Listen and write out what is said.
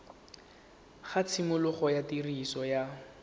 ga tshimologo ya tiriso ya